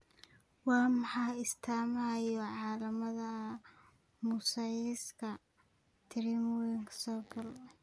Waa maxay astaamaha iyo calaamadaha mosaicka trisomy sagal?